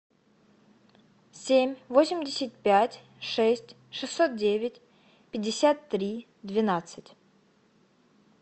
семь восемьдесят пять шесть шестьсот девять пятьдесят три двенадцать